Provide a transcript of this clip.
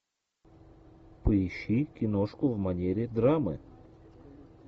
поищи киношку в манере драмы